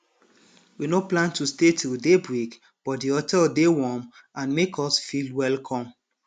we nor plan to stay till daybreak but di hotel dey warm and and make us feel welcome